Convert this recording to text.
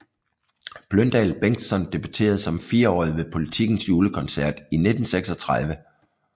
Bløndal Bengtsson debuterede som fireårig ved Politikens Julekoncert i 1936